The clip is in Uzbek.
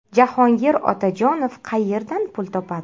Jahongir Otajonov qayerdan pul topadi?